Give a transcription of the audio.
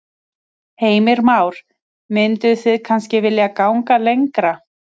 Heimir Már: Mynduð þið kannski vilja ganga lengra?